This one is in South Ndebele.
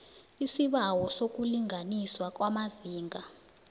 isibawo sokulinganiswa kwamazinga